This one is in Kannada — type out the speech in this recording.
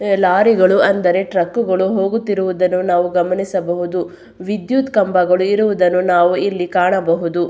ಲಾರಿಗಳು ಅಂದರೆ ಟ್ರಕ್ ಗಳು ಹೋಗುತ್ತಿರುವುದನ್ನು ನಾವು ಗಮನಿಸಬಹುದು ವಿದ್ಯುತ್ ಕಂಬಗಳು ಇರುವುದನ್ನು ನಾವು ಇಲ್ಲಿ ಕಾಣಬಹುದು.